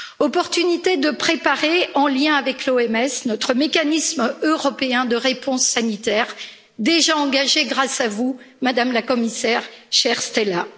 Opportunité de préparer, en lien avec l'OMS, notre mécanisme européen de réponse sanitaire, déjà engagé, grâce à vous, Madame la Commissaire, chère Stella.